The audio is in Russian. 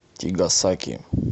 тигасаки